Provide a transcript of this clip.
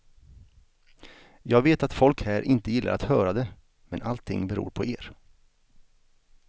Jag vet att folk här inte gillar att höra det, men allting beror på er.